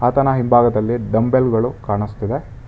ಆತನ ಹಿಂಭಾಗದಲ್ಲಿ ಡಂಬೆಲ್ ಗಳು ಕಾಣುಸ್ತಿದೆ.